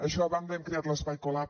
això a banda hem creat l’espai colab